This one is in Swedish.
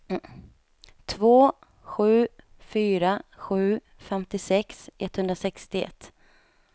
två sju fyra sju femtiosex etthundrasextioett